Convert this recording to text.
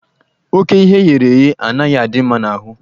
Ókè ihe eghere eghe anaghị adị mma n'ahụ.